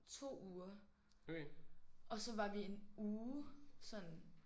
2 uger. Og så var vi en uge sådan